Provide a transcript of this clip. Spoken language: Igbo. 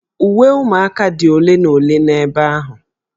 Uwe ụmụaka dị ole na ole n'ebe ahụ